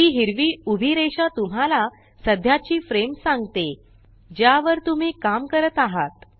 ही हिरवी उभी रेषा तुम्हाला सद्याची फ्रेम सांगते ज्यावर तुम्ही काम करत आहात